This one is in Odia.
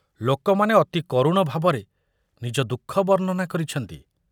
ଲୋକମାନେ ଅତି କରୁଣ ଭାବରେ ନିଜ ଦୁଃଖ ବର୍ଣ୍ଣନା କରିଛନ୍ତି।